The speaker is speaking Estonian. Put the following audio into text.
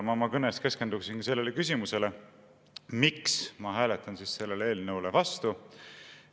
Ma oma kõnes keskenduksin sellele küsimusele, miks ma hääletan selle eelnõu vastu.